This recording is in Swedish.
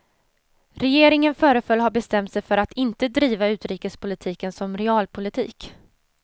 Regeringen föreföll ha bestämt sig för att inte driva utrikespolitiken som realpolitik.